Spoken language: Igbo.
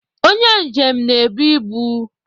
Onye njem na-ebu ibu